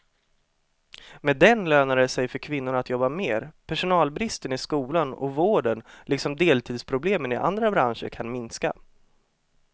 Med den lönar det sig för kvinnorna att jobba mer, personalbristen i skolan och vården liksom deltidsproblemen i andra branscher kan minska.